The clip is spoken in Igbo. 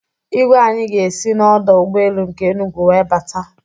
Igwe anyị ga-esi n'ọdọ ụgbọelu nke Enugwu wee bata